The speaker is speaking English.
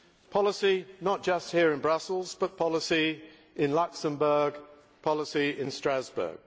policy not just here in Brussels, but policy in Luxembourg, policy in Strasbourg.